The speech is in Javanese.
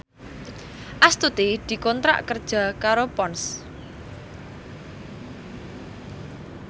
Astuti dikontrak kerja karo Ponds